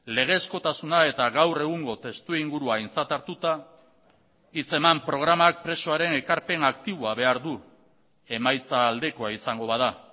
legezkotasuna eta gaur egungo testu ingurua aintzat hartuta hitz eman programak presoaren ekarpen aktiboa behar du emaitza aldekoa izango bada